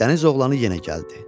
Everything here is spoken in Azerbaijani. Dəniz oğlanı yenə gəldi.